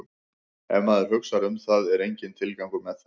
Ef maður hugsar um það er enginn tilgangur með þeim.